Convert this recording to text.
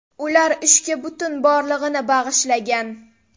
Ular ishga butun borlig‘ini bag‘ishlagan.